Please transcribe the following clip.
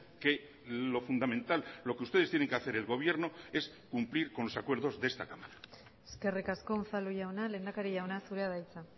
que lo fundamental lo que ustedes tienen que hacer el gobierno es cumplir con los acuerdos de esta cámara eskerrik asko unzalu jauna lehendakari jauna zurea da hitza